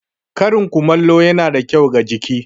Karin kumallo da wuri ya na da kyau ga jiki.